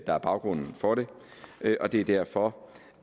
er baggrunden for det og det er derfor